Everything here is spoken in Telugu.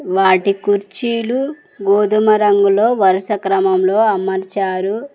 వాటి కుర్చీలు గోధుమ రంగులో వరుస క్రమంలో అమర్చారు.